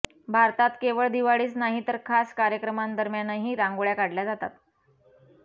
भारतात केवळ दिवाळीतच नाही तर खास कार्यकमांदरम्यानही रांगोळ्या काढल्या जातात